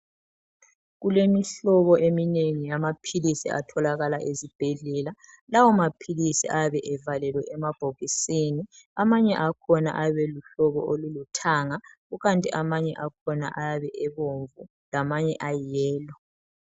Kulemihlobo eminengi eyamaphilisi atholakala esibhedlela. Lawo mapilisi ayabe evalele emabhokisini. Amanye akhona ayabe eluhlobo oluluthanga. kukhathi amanye akhona ayabe ebomvu lamanye ayiyelo.